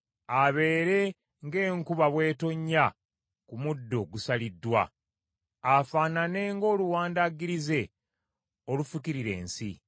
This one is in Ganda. Abeere ng’enkuba bw’etonnya ku muddo ogusaliddwa, afaanane ng’oluwandaggirize olufukirira ensi.